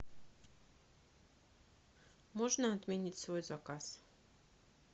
можно отменить свой заказ